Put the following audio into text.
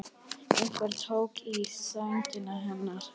Einhver tók í sængina hennar.